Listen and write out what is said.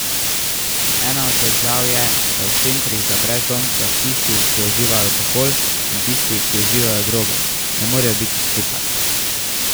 Ena od težav je, da v centrih za brezdomce tisti, ki uživajo alkohol, in tisti, ki uživajo droge, ne morejo biti skupaj.